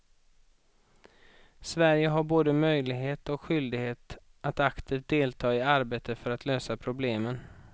Sverige har både möjlighet och skyldighet att aktivt delta i arbetet för att lösa problemen.